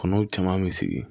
Kɔnɔw caman mi sigi